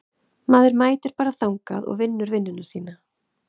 Maður mætir bara þangað og vinnur vinnuna sína.